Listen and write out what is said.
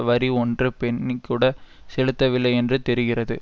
வரி ஒன்று பென்னி கூட செலுத்தவில்லை என்று தெரிகிறது